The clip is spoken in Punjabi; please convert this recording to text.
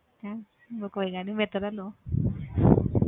ਹੈਂ ਉਹ ਕੋਈ ਗੱਲ ਨੀ ਮੈਥੋਂ ਲੈ ਲਓ